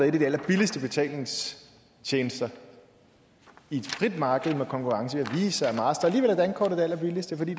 en af de allerbilligste betalingstjenester i et frit marked med konkurrence af visa og alligevel er dankortet det allerbilligste fordi